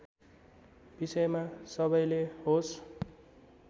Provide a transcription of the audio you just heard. विषयमा सबैले होस